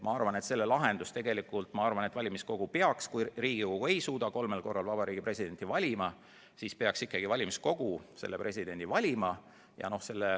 Ma arvan, et kui Riigikogu ei suuda kolmel korral Vabariigi Presidenti ära valida, siis peaks ikkagi valimiskogu presidendi valima.